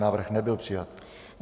Návrh nebyl přijat.